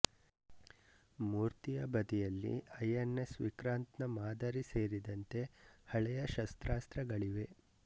ಮೂರ್ತಿಯ ಬದಿಯಲ್ಲಿ INS Vikrant ನ ಮಾದರಿ ಸೇರಿದಂತೆ ಹಳೆಯ ಶಸ್ತ್ರಾಸ್ತ್ರಗಳಿವೆ